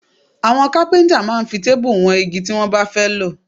Àwọn kápíntà máa ń fi téèbù wọn igi tí wọ́n bá fẹ́ lò